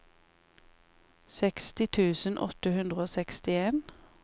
seksti tusen åtte hundre og sekstien